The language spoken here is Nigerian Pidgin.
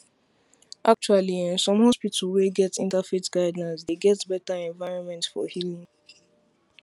acttually ehnn some hospital wey get inter faith guildelines dey get better environment for healing